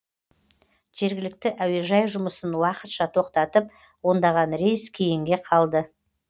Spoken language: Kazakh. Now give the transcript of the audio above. жергілікті әуежай жұмысын уақытша тоқтатып ондаған рейс кейінге қалды